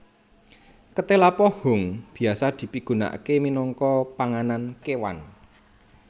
Ketéla pohung biasa dipigunakaké minangka panganan kéwan